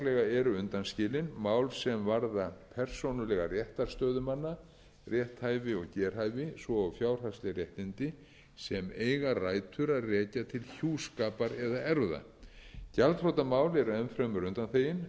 eru undanskilin mál sem varða persónulega réttarstöðu manna rétthæfi og gerhæfi svo og fjárhagsleg réttindi sem eiga rætur að rekja til hjúskapar eða erfða gjaldþrotamál eru enn fremur undanþegin